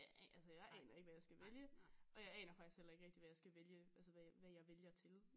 Jeg altså jeg aner ikke hvad jeg skal vælge og jeg aner faktisk heller ikke rigtig hvad jeg skal vælge altså hvad hvad jeg vælger til